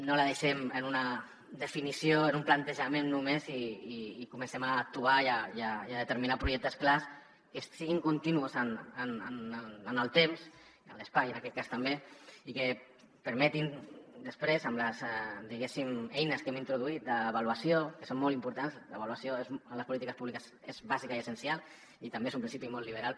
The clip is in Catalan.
no la deixem en una definició o en un plantejament només i comencem a actuar i a determinar projectes clars que siguin continuats en el temps i en l’espai en aquest cas també i que permetin després amb les eines que hem introduït d’avaluació que són molt importants l’avaluació en les polítiques públiques és bàsica i essencial i també és un principi molt liberal